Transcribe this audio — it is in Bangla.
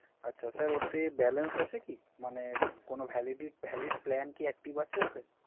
আচ্ছা স্যার ওতে Balance আছে কি? মানে কোন Valid plan কি Active আছে ওতে?